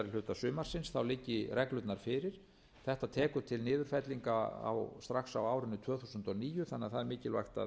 síðari hluta sumarsins liggi reglurnar fyrir þetta tekur til niðurfellinga strax á árinu tvö þúsund og níu þannig að það er mikilvægt